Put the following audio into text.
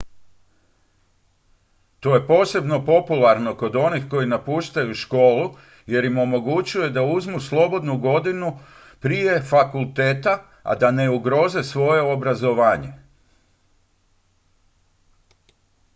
to je posebno popularno kod onih koji napuštaju školu jer im omogućuje da uzmu slobodnu godinu prije fakulteta a da ne ugroze svoje obrazovanje